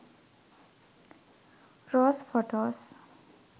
rose photos